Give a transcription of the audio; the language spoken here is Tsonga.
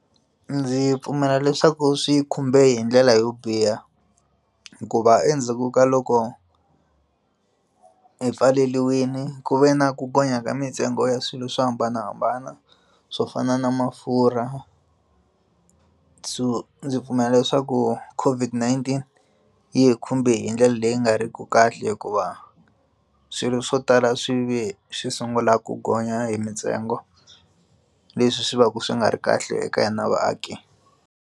Ndzi pfumela leswaku swi khumbe hi ndlela yo biha hikuva endzhaku ka loko hi pfaleliwini ku ve na ku gonya ka mintsengo ya swilo swo hambanahambana swo fana na mafurha byo ndzi pfumela leswaku COVID-19 yi khumbe hi ndlela leyi nga ri ki kahle hikuva swilo swo tala swi ve swi sungula ku gonya hi mintsengo leswi swi va ka swi nga ri kahle eka hina vaaki.